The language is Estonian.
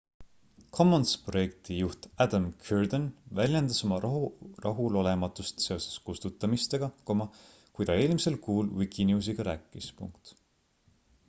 commons projekti juht adam cuerden väljendas oma rahulolematust seoses kustutamistega kui ta eelmisel kuul wikinewsiga rääkis